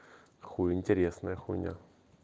хули интересная хуйня